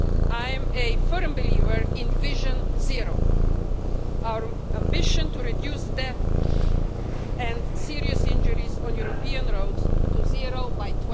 I am a firm believer in Vision Zero, our ambition to reduce death and serious injuries on European roads to zero by